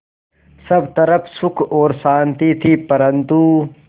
सब तरफ़ सुख और शांति थी परन्तु